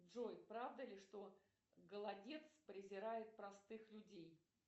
джой правда ли что голодец презирает простых людей